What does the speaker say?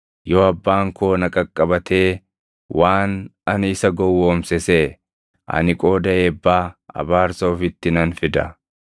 Yoo abbaan koo na qaqqabatee waan ani isa gowwoomse seʼe, ani qooda eebbaa abaarsa ofitti nan fida.”